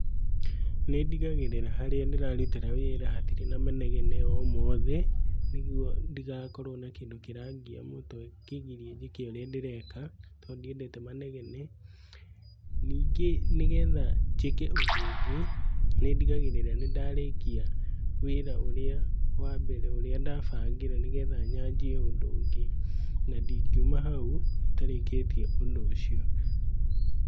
Nĩndigagĩrĩra harĩa ndĩrarutĩra wĩra hatirĩ na manegene o mothe, nĩguo ndigakorwo na kĩndũ kĩrangia mũtwe kĩngĩgiria njĩke ũrĩa ndireka tondũ ndiendete manegene. Ningĩ nĩgetha njĩke ũndũ ũngĩ nĩndigagĩrĩra nĩ ndarĩkia wĩra ũrĩa wa mbere ũrĩa ndabangĩra nĩgetha nyanjie ũndũ ũngĩ na ndingiuma hau itarĩkĩtie ũndũ ũcio.